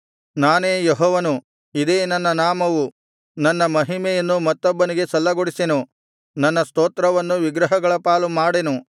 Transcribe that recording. ನಾನೇ ಯೆಹೋವನು ಇದೇ ನನ್ನ ನಾಮವು ನನ್ನ ಮಹಿಮೆಯನ್ನು ಮತ್ತೊಬ್ಬನಿಗೆ ಸಲ್ಲಗೊಡಿಸೆನು ನನ್ನ ಸ್ತೋತ್ರವನ್ನು ವಿಗ್ರಹಗಳ ಪಾಲು ಮಾಡೆನು